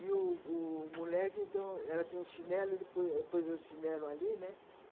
E o o moleque, então, ela tinha um chinelo, ele pôs pôs o chinelo ali, né?